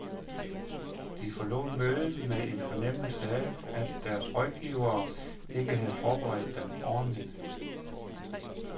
De forlod mødet med en fornemmelse af, at deres rådgivere ikke havde forberedt dem ordentligt.